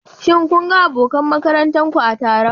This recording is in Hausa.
Shin kun ga abokan makarantar ku a taron?